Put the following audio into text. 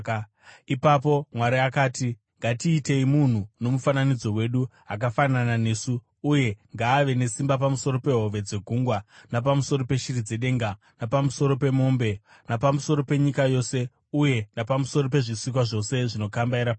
Ipapo Mwari akati, “Ngatiitei munhu nomufananidzo wedu, akafanana nesu, uye ngavave nesimba pamusoro pehove dzegungwa napamusoro peshiri dzedenga, napamusoro pemombe, napamusoro penyika yose, uye napamusoro pezvisikwa zvose zvinokambaira panyika.”